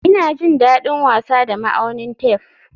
Ina jin daɗin wasa da ma'aunin tef